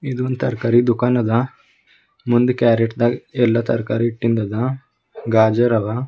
ಇದು ಒಂದ್ ತರಕಾರಿ ದುಃಖಾನದ ಒಂದು ಕ್ಯಾರೆಟ್ ದಾಗ ಎಲ್ಲಾ ತರಕಾರಿ ಇಟ್ಟಿಂದದ ಗಾಜರ್ ಅದ.